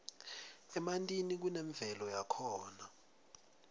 emantini kunemvelo yakhona